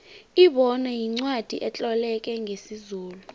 ibona yincwacli etloleke ngesizulu